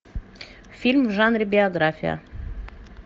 фильм в жанре биография